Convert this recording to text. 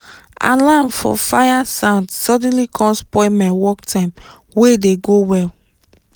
alarm for fire sound suddenly com spoil my work time wey dey go well